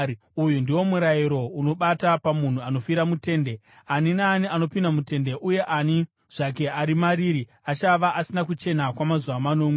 “Uyu ndiwo murayiro unobata pamunhu anofira mutende: Ani naani anopinda mutende uye ani zvake ari mariri achava asina kuchena kwamazuva manomwe,